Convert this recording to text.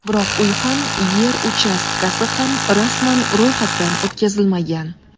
Biroq uy ham, yer uchastkasi ham rasman ro‘yxatdan o‘tkazilmagan.